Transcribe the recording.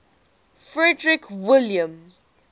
frederick william